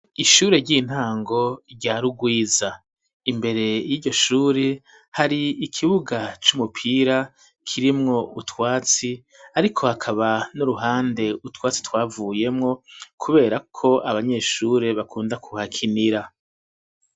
Ishure ry'intango ryarugwiza ,imbere y'iryoshuri ,hari ikibuga c'umupira ,kirimwo utwatsi ariko hakaba n'uruhande utwatsi twavuyemwo, kubera ko abanyeshure bakunda kuhakinira.